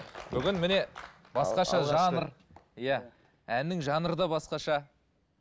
бүгін міне иә әннің жанры да басқаша